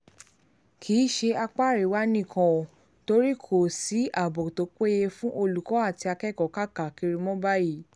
kì í ṣe apá àríwá nìkan ò torí kò sí ààbò tó péye fáwọn olùkọ́ àti akẹ́kọ̀ọ́ káàkiri mọ́ báyìí